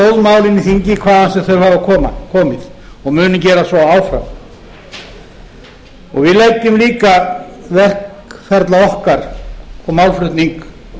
í þingi hvaðan sem þau hafa komið og munum gera svo áfram við leggjum líka verkferla okkar og málflutning